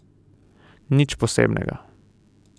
Nič posebnega.